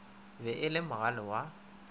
be e le mogale wa